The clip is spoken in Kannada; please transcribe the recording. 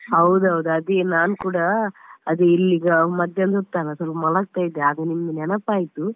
ಹೌದೌದು, ಅದೇ ನಾನು ಕೂಡ ಅದೇ ಇಲ್ಲಿ ಈಗ ಮಧ್ಯಾಹ್ನದ ಹೊತ್ತಲ್ಲ ಸ್ವಲ್ಪ ಮಲಗ್ತಾ ಇದ್ದೆ, ಅಗಾ ನಿಮ್ದು ನೆನಪಾಯ್ತು